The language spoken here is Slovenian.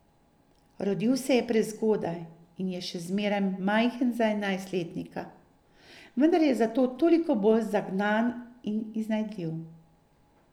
Rodil se je prezgodaj in je še zmeraj majhen za enajstletnika, vendar je zato toliko bolj zagnan in iznajdljiv.